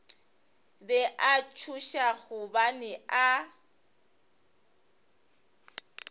be a tšhoša gobane a